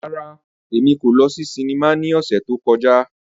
Rárá, Emi ko lọ si sinima ni ọsẹ to kọja.